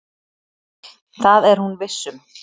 Það er hún viss um.